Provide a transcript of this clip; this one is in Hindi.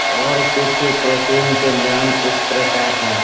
और कुछ प्रोटीन के नाम इस प्रकार हैं।